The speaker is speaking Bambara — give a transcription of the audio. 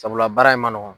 Sabula baara in ma nɔgɔn